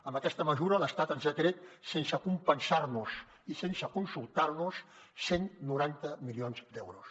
amb aquesta mesura l’estat ens ha tret sense compensar nos ho i sense consultar nos ho cent i noranta milions d’euros